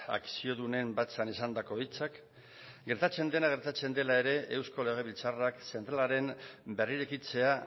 akziodunen batzan esandako hitzak gertatzen dena gertatzen dela ere eusko legebiltzarrak zentralaren berrirekitzea